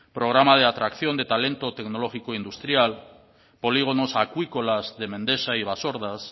programa de atracción de talento tecnológico industrial polígonos acuícolas de mendexa y basordas